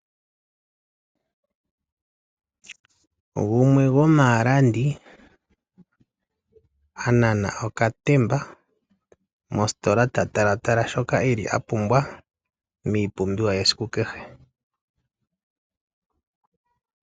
Gumwe gomaalandi anana okatemba mositola ta talatala shoka eli a pumbwa miipumbiwa yesiku kehe .